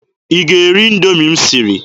Ị ga-eri Indoomi m siri?